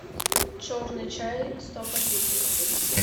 черный чай сто пакетиков